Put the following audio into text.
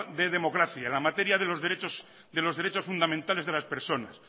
de democracia en la materia de los derechos fundamentales de las personas